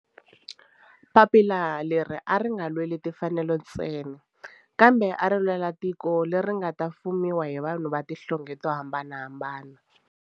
Papila leri a ri nga lweli timfanelo ntsena kambe ari lwela tiko leri nga ta fumiwa hi vanhu va tihlonge to hambanahambana.